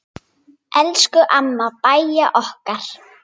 Elsku amma Bæja okkar.